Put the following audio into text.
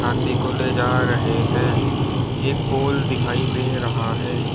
हाथी को ले जा रहे हैं एक पोल दिखाई दे रहा है।